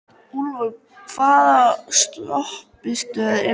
Úlfur, hvaða stoppistöð er næst mér?